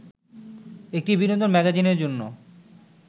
একটি বিনোদন ম্যাগাজিনের জন্য